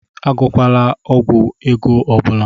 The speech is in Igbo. Agwọkwala ọgwụ ego ọ bụla!